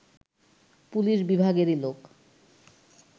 police বিভাগেরই লোক